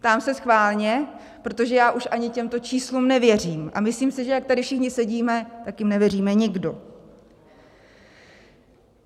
Ptám se schválně, protože já už ani těmto číslům nevěřím, a myslím si, že jak tady všichni sedíme, tak jim nevěříme nikdo.